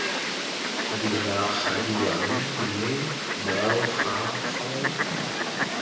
diragadiwa mme morago ga foo